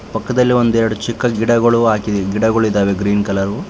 ಪಕ್ಕದಲ್ಲಿ ಒಂದೆರಡು ಚಿಕ್ಕ ಗಿಡಗಳು ಹಾಗಿವೆ ಗಿಡಗಳಿದವೇ ಗ್ರೀನ್ ಕಲರ್ .